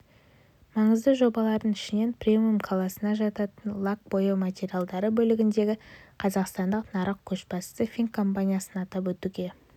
маңызды жобалардың ішінен премиум класына жататын лак-бояу материалдары бөлігіндегі қазақстандық нарық көшбасшысы фин компаниясын атап өтуге